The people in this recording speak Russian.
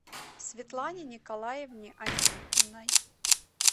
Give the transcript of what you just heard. светлане николаевне антипиной